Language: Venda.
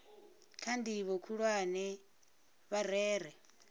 kha ndivho khulwane vha rere